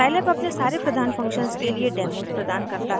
Scilab अपने सारे प्रधान फंक्शन्स के लिए डेमोज़ प्रदान करता है